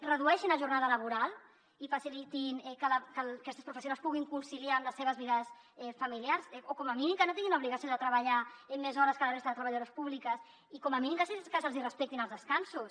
redueixin la jornada laboral i facilitin que aquestes professionals puguin conciliar amb les seves vides familiars o com a mínim que no tinguin l’obligació de treballar més hores que la resta de treballadores públiques i com a mínim que se’ls hi respectin els descansos